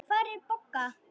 Hvar er Bogga?